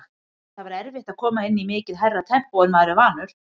Það var erfitt að koma inn í mikið hærra tempó en maður er vanur.